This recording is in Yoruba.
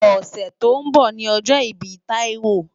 Òsè tó n bò ni òjò ibi Taiwo